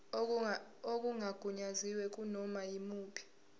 okungagunyaziwe kunoma yimuphi